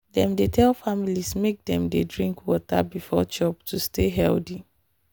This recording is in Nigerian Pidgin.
dem dey tell families make dem dey drink water before chop to stay healthy.